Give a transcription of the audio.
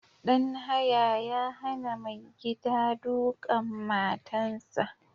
Ɗan haya ya hana mai gida duƙan matan sa